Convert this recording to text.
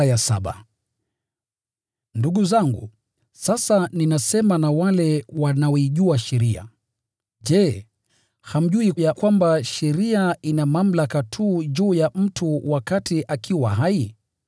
Ndugu zangu (sasa ninasema na wale wanaoijua sheria), je, hamjui ya kwamba sheria ina mamlaka tu juu ya mtu wakati akiwa hai?